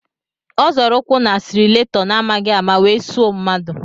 Ọ zọrọ ụkwụ n'asilaretọ n'amaghi ama wee suo mmadụ.